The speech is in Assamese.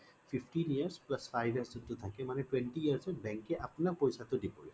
fifteen years plus five years যোনটো থাকে মানে twenty years ত bank এ আপোনাক পইছা টো দিবলে পায়